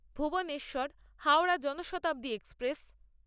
Bhuvneshwar Howrah Janshatabdi express